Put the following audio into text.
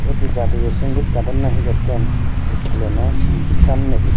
iyot he jatiyo songeet gadon na he gotton school ano samnedi.